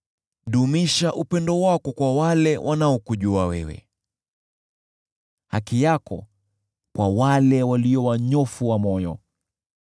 Dumisha upendo wako kwa wale wanaokujua wewe, haki yako kwa wale walio wanyofu wa moyo.